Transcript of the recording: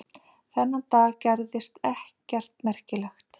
Þennan dag gerðist ekkert merkilegt.